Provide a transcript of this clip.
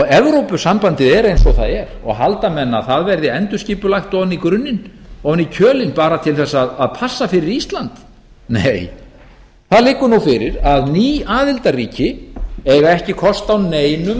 evrópusambandið er eins og það er og halda menn að það verði endurskipulagt ofan í grunninn ofan í kjölinn bara til þess að passa fyrir ísland nei það liggur nú fyrir að ný aðildarríki eiga ekki kost á neinum